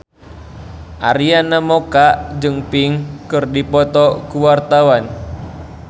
Arina Mocca jeung Pink keur dipoto ku wartawan